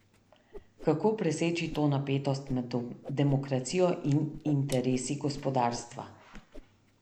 Kako preseči to napetost med demokracijo in interesi gospodarstva?